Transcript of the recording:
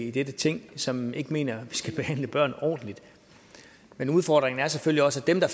i dette ting som ikke mener vi skal behandle børn ordentligt men udfordringen er selvfølgelig også at dem der